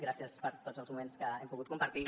gràcies per tots els moments que hem pogut compartir